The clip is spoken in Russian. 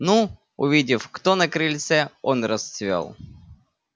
ну увидев кто на крыльце он расцвёл